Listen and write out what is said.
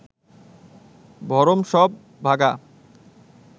ভরম সব ভাগা